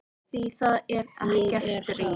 Því það er ekkert stríð.